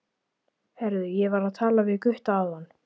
Heyrðu, ég var að tala við Gutta áðan.